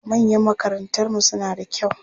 Mayan makarantarmu suna da kyau.